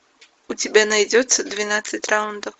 у тебя найдется двенадцать раундов